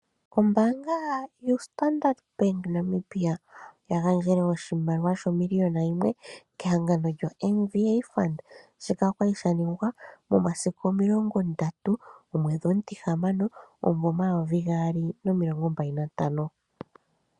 Ombaanga yoStandard Bank oya gandjele moNamibia, oya gandjele oshimaliwa, omiliyona yimwe kehangano lyoMVA Fund. Shika oshali shaningwa momasiku omilongo ndatu, omwedhi omutihamano, omumvo omayovi gaali nomilongo mbali nantano.